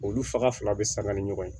Olu faga fila fila bɛ sanga ni ɲɔgɔn ye